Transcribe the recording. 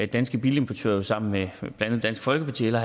danske bilimportører jo sammen med blandt andet dansk folkeparti hellere